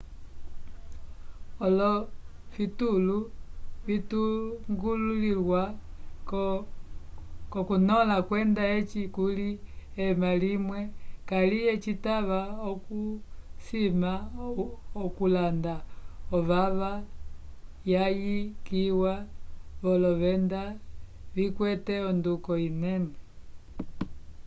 olofitulu vipongolwilwa k'okukõla kwenda eci kuli ema limwe kaliye citava okusima okulanda ovava yayikiwa volovenda vikwete onduko inene